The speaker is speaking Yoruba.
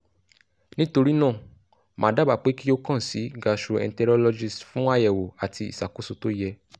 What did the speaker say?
nitorina ma daba pe ki o kan si gastroenterologist fun ayewo ati isakoso to ye